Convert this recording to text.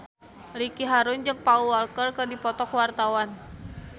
Ricky Harun jeung Paul Walker keur dipoto ku wartawan